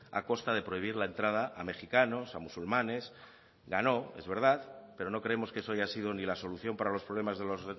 a costa de prohibir la entrada a mejicanos a musulmanes ganó es verdad pero no creemos que eso haya sido ni la solución para los problemas de los